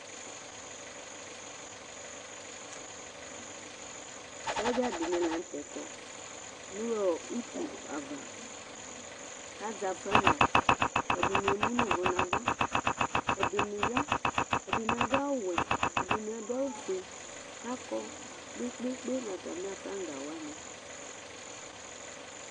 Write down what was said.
Sodjadɩnɩ lanutɛ kɔ nʊ utu ava, kʊ azɛ aflaga, ɛdɩnɩ emu nʊ uwɔ nava, ɛdɩnɩ̇ ya, ɛdɩnɩ adʊ awuwɛ, ɛdɩnɩ adʊ awu fue, kakɔ kpekpekpe nʊ atami aflagawanɩ